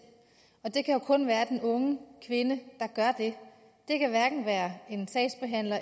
og det kan jo kun være den unge kvinde der gør det det kan hverken være en sagsbehandler